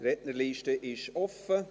Die Rednerliste ist offen.